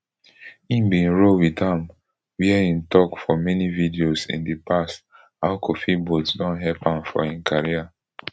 im bin roll wit am wia im tok for many videos in di past how kofi boat don help am for im career